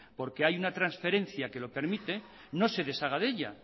porque hay una transferencia que lo permite no se deshaga de ella